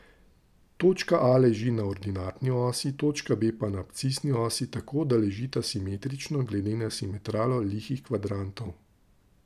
Točka A leži na ordinatni osi, točka B pa na abscisni osi tako, da ležita simetrično glede na simetralo lihih kvadrantov.